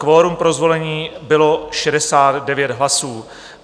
Kvorum pro zvolení bylo 69 hlasů.